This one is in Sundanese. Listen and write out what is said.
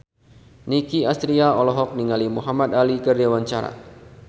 Nicky Astria olohok ningali Muhamad Ali keur diwawancara